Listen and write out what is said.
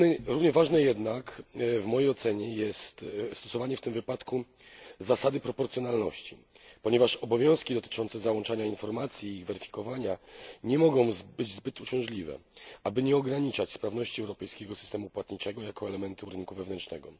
Równie ważne jednak jest, w mojej ocenie, stosowanie w tym wypadku zasady proporcjonalności ponieważ obowiązki dotyczące załączania informacji i weryfikowania nie mogą być zbyt uciążliwe aby nie ograniczać sprawności europejskiego systemu płatniczego jako elementu rynku wewnętrznego.